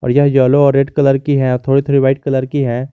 यह येलो और red colour की है थोड़ी थोड़ी व्हाइट की है।